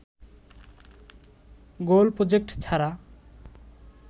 গোল project ছাড়া